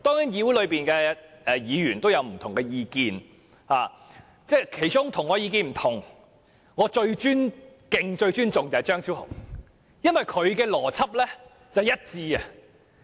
議會內的議員當然各有不同的意見，而其中與我意見不同但我卻最尊敬的是張超雄議員，因為他的邏輯相當一致。